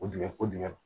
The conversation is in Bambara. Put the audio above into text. Kojugu kojugu